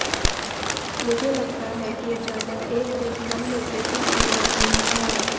मुझे लगता है कि अचानक एक दिन हम में कुछ भी आम नहीं था